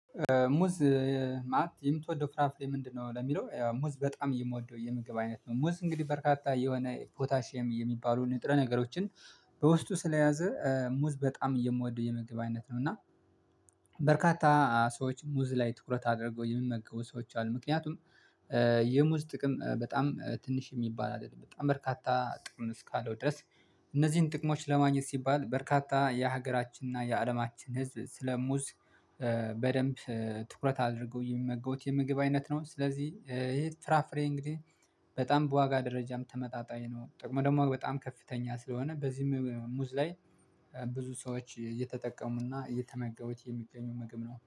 ሙዝ? ማለት የምትወደው ፍራፍሬ ምንድነው ለሚለው ሙዝ በጣም የምወደው የምግብ አይነት ነው። ሙዝ እንግዲህ በርካታ የሆነ ፖታሽየም የሚባሉ ንጥረ ነገሮችን። በውስጡ ስለያዘ ሙዝ በጣም እየምወደው የመግቢያነት ነው እና። በርካታ ሰዎች ሙዝ ላይ ትኩረት አድርገው የሚመገቡ ሰዎች አሉ። ምክንያቱም ጥቅም በጣም ትንሽ የሚባል አይደለም በጣም በርካታ ጥቅም እስካለው ድረስ። እነዚህን ጥቅሞች ለማግኘት ሲባል በርካታ የሀገራችንና የአለማችን ህዝብ ስለ ሙዝ። በደንብ ትኩረት አድርገው ሚመገውት የምግብ አይነት ነው። ስለዚህ ይሄ ፍራፍሬ እንግዲህ በጣም በዋጋ ደረጃም ተመጣጣኝ ነው። ጥቅሙ ደግሞ በጣም ከፍተኛ ስለሆነ በዚህም ሙዝ ላይ ብዙ ሰዎች እየተጠቀሙና እየተመገቡት የሚገኙ ምግብ ነው